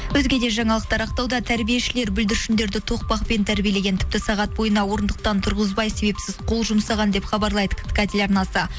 өзге де жаңалықтар ақтауда тәрбиешілер бүлдіршіндерді тоқпақпен тәрбиелеген тіпті сағат бойына орындықтан тұрғызбай себепсіз қол жұмсаған деп хабарлайды ктк телеарнасы